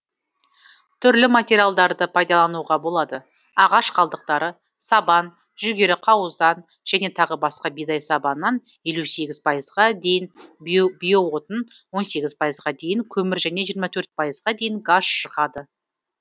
түрлі материалдарды пайдалануға болады ағаш қалдықтары сабан жүгері қауыздан және тағы басқа бидай сабанынан елу сегіз пайызға дейін биоотын он сегіз пайызға дейін көмір және жиырма төрт пайызға дейін газ шығады